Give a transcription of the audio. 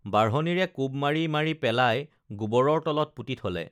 বাঢ়নীৰে কোব মাৰি মাৰি পেলাই গোবৰৰ তলত পুতি থলে